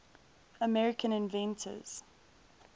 american inventors